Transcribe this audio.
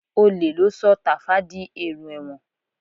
Olè ló sọ Tàfá di èrò ẹ̀wọ̀n